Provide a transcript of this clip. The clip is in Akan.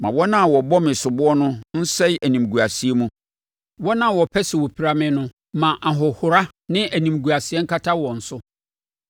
Ma wɔn a wɔbɔ me soboɔ no nsɛe animguaseɛ mu; wɔn a wɔpɛ sɛ wɔpira me no ma ahohora ne animguaseɛ nkata wɔn so.